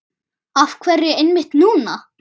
Af hverju einmitt núna?